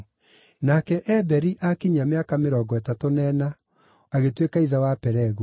Nake Eberi aakinyia mĩaka mĩrongo ĩtatũ na ĩna, agĩtuĩka ithe wa Pelegu.